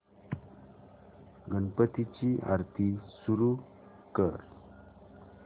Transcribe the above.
गणपती ची आरती सुरू कर